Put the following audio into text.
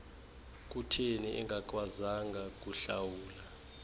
kutheni engakwazanga kuhlawula